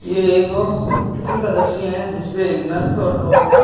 ये एक हॉस्पिटल का दश्य है जिस पे एक नर्स और डॉ--